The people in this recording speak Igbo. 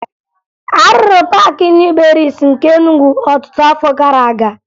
A rụrụ Paakị Nịu Berịịsị nke Enugwu ọtụtụ afọ gara aga